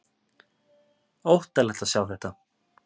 Óttalegt að sjá þetta!